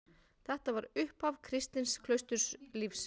Þetta var upphaf kristins klausturlífs.